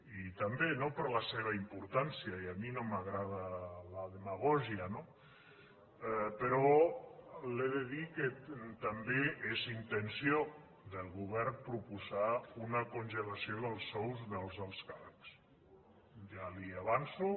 i també no per la seva importància i a mi no m’agrada la demagògia no però li he de dir que també és intenció del govern proposar una congelació dels sous dels alts càrrecs ja li ho avanço